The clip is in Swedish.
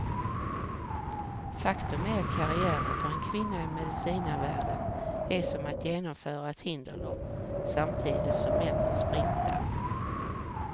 Faktum är att karriären för en kvinna i medicinarvärlden är som att genomföra ett hinderlopp, samtidigt som männen sprintar.